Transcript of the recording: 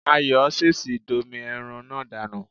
Ayọ̀ ṣèṣì domi ẹran náà dànù